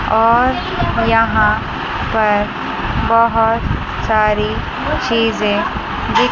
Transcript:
और यहां पर बहोत सारी चीजें दिख--